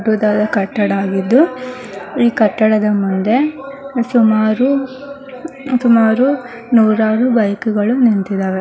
ಬೃಹತಾದ ಕಟ್ಟಡ ಆಗಿದ್ದು ಈ ಕಟ್ಟಡದ ಮುಂದೆ ಸುಮಾರು ಸುಮಾರು ನೂರಾರು ಬೈಕು ಗಳು ನಿಂತಿವೆ .